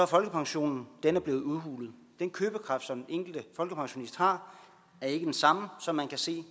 folkepensionen blevet udhulet den købekraft som enkelte folkepensionist har er ikke den samme som man kan se